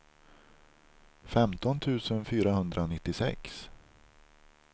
femton tusen fyrahundranittiosex